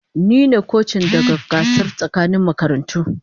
Ni ne kocin daga gasar tsakanin makarantu.